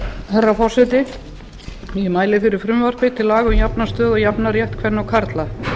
herra forseti ég mæli fyrir frumvarpi til laga um jafna stöðu og jafnan rétt kvenna og karla